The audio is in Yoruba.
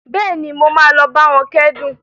Bẹ́ẹ̀ni, mo máa lọ bá wọn kẹ́dùn